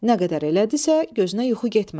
Nə qədər elədisə, gözünə yuxu getmədi.